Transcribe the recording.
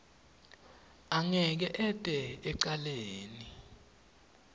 angeke ete ecaleni